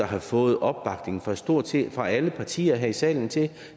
har fået opbakning fra stort set alle partier her i salen til